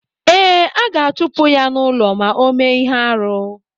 Ee, a ga-achupu ya n'ulọ ma ọ mee ihe-árú.